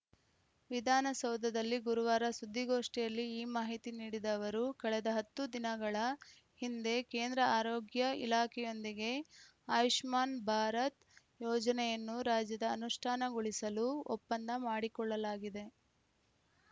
ವಿಧಾನಸೌಧದಲ್ಲಿ ಗುರುವಾರ ಸುದ್ದಿಗೋಷ್ಠಿಯಲ್ಲಿ ಈ ಮಾಹಿತಿ ನೀಡಿದ ಅವರು ಕಳೆದ ಹತ್ತು ದಿನಗಳ ಹಿಂದೆ ಕೇಂದ್ರ ಆರೋಗ್ಯ ಇಲಾಖೆಯೊಂದಿಗೆ ಆಯುಷ್ಮಾನ್‌ ಭಾರತ್‌ ಯೋಜನೆಯನ್ನು ರಾಜ್ಯದ ಅನುಷ್ಠಾನಗೊಳಿಸಲು ಒಪ್ಪಂದ ಮಾಡಿಕೊಳ್ಳಲಾಗಿದೆ